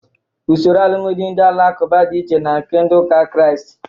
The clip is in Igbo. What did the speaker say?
Usoro alụmdị ndị alakụba dị iche na nke ndị ụka Krịast